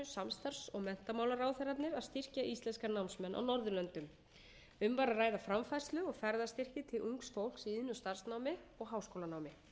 samstarfs og menntamálaráðherrarnir að styrkja íslenska námsmenn á norðurlöndum um var að ræða framfærslu og ferðastyrki til ungs fólks í iðn og starfsnámi og háskólanámi